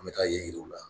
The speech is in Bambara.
An bɛ taa yen u la